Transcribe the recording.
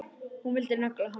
Hún vildi negla hann!